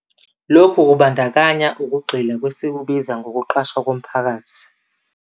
Lokhu kubandakanya ukugxila kwesikubiza 'ngokuqashwa komphakathi'.